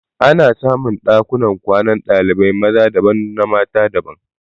Ana samun Ɗakuna kwanan dalibai maza daban na mata daban